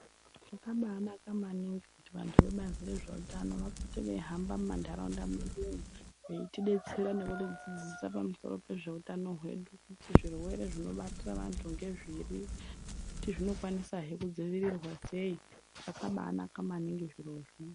Zvakabaanaka maningi kuti vantu vebazi rezveutano vapote veihamba mumantaraunda medumo, veitidetsera nekutidzidzisa pamusoro pezvehutano hwedu kuti zvirwere zvinobatira vantu ngezviri uye kuti zvinokwanisahe kudzivirirwa sei. Zvakabanaka maningi zvirozvo.